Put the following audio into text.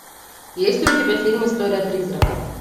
есть ли у тебя фильм история призрака